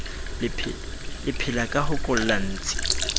le phelaka ho kolla ntsi